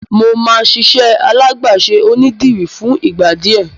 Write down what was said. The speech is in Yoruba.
Mo máa ṣiṣẹ́ alágbàṣe onídìrí fún ìgbà díẹ̀.